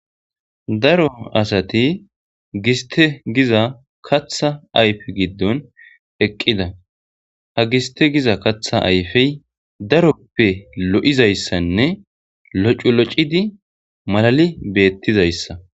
Daro asati gistte giza kaththa ayife giddon eqqida. Ha gistte giza kaththa ayife daroppe loo'izaysanne loc'uloc'idi malali betizaysa.